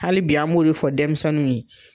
Hali bi an m'o fɔ denmisɛninw ye.